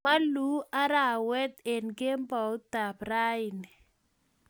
Moluu arawet eng kemboutab rani